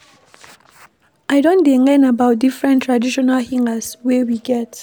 I don dey learn about different traditional healers wey we get.